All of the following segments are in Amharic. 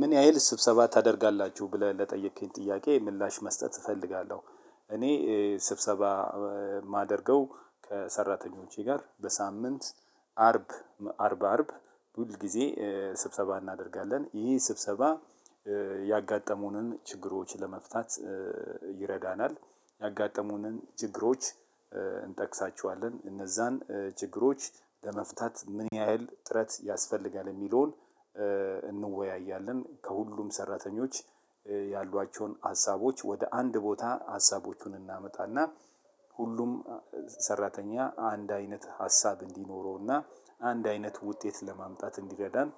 ምን ያህል ስብሰባ ታደርጋላችሁ ብለህ ለጠየከኝ ጥያቄ ምላሽ መስጠት እፈልጋለሁ። እኔ ስብሰባ የማደርገው ከሰራተኞቼ ጋር በሳምንት አርብ አርብ አርብ ሁል ጊዜ ስብሰባ እናደርጋለን ይሄ ስብሰባ። ያጋጠሙንን ችግሮች ለመፍታት ይረዳናል ያጋጠሙንን ችግሮች እንጠቅሳችኋለን እነዛን ችግሮች ለመፍታት ምን ያህል ጥረት ያስፈልጋል የሚለውን እንወያያለን። ከሁሉም ሰራተኞች ያሏቸውን ሀሳቦች ወደ አንድ ቦታ ሀሳቦቹን እናመጣና ሁሉም ሰራተኛ አንድ አይነት ሀሳብ እንዲኖረውና አንድ አይነት ውጤት ለማምጣት እንዲረዳን።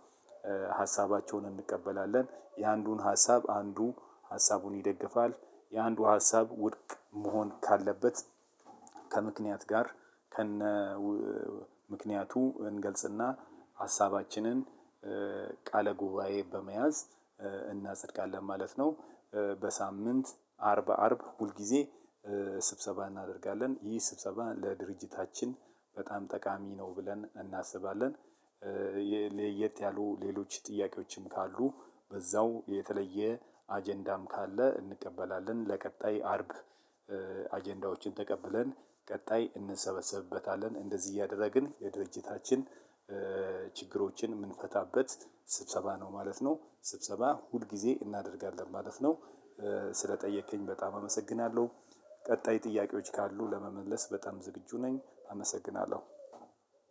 ሀሳባቸውን እንቀበላለን የአንዱን ሀሳብ አንዱ ሀሳቡን ይደግፋል የአንዱ ሀሳብ ውድቅ መሆን ካለበት ከምክንያት ጋር ከነ ምክንያቱ እንገልጽና ሀሳባችንን ቃለ ጉባኤ በመያዝ እናጸድቃለን ማለት ነው። በሳምንት አርብ አርብ ሁል ጊዜ ስብሰባ እናደርጋለን ይህ ስብሰባ ለድርጅታችን በጣም ጠቃሚ ነው ብለን እናስባለን። ለየት ያሉ ሌሎች ጥያቄዎችም በዛው የተለየ አጀንዳም ካለ እንቀበላለን ለቀጣይ አርብ። አጀንዳዎችን ተቀብለን ቀጣይ እንሰበሰብበታለን እንደዚህ እያደረግን የድርጅታችን ችግሮችን የምንፈታበት ስብሰባ ነው ማለት ነው ስብሰባ ሁል ጊዜ እናደርጋለን ማለት ነው። ስለጠየከኝ በጣም አመሰግናለሁ። ቀጣይ ጥያቄዎች ካሉ ለመመለስ በጣም ዝግጁ ነኝ አመሰግናለሁ።